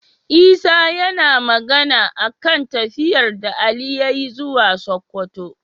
Isa yAna Magana akan tafiyar da Ali yayi zuwa sokoto